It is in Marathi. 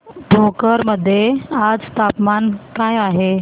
भोकर मध्ये आज तापमान काय आहे